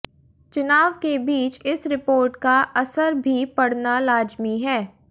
चुनाव के बीच इस रिपोर्ट का असर भी पड़ना लाजिमी है